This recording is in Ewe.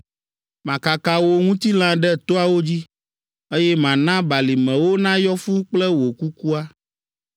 Makaka wò ŋutilã ɖe toawo dzi, Eye mana balimewo nayɔ fũu kple wò kukua.